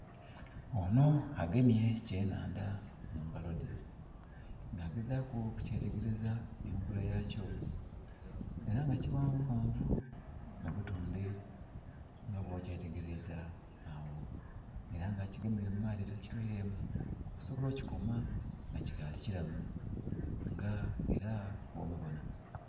Onho agemye ekyenhandha mungalodhe nga agezaku okukyetegereza enkula yakyo era nga kighanvu ghanvu mubutondhe nga bwo kyetegereiza agho. Era nga akigemeire mumadhi takitoiremu okusobola okukikuma nga kiramu nga era bwoli kumubonha.